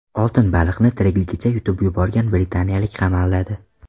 Oltin baliqni tirikligicha yutib yuborgan britaniyalik qamaladi .